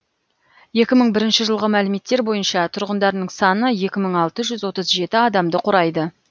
екі мың бірінші жылғы мәліметтер бойынша тұрғындарының саны екі мың алты жүз отыз жеті адамды құрайды